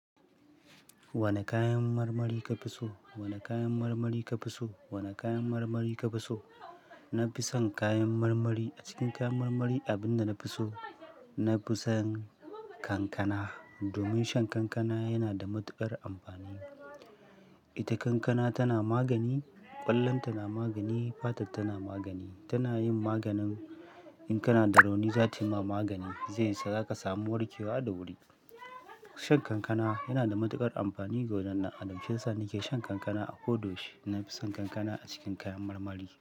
Wane kayan marmari ka fi so? Wane kayan marmari ka fi so? Wane kayan marmari ka fi so? Na fi son kayan marmari. A cikin kayan marmari, abin da na fi so, na fi son kankana. Domin shan kankana yana da matuƙar amfani. Ita kankana tana magani, ƙwallonta na magani, fatarta na magani. Tana yin maganin in kana da rauni, za ta yi ma magani. Zai sa za ka samu warkewa da wuri. Shan kankana yana da matuƙar amfani ga wajen dan adam shiyasa na ke shan kankana a ko da yaushe. Na fi son kankana a cikin kayan marmari.